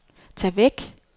tag væk